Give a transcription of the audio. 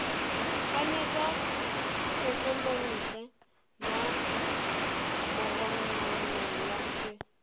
ganetša tshekelontle ya mogononelwa se